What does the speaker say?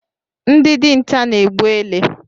Ndị dinta na-egbu ele